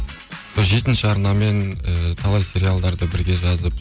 жетінші арнамен ы талай сериалдарды бірге жазып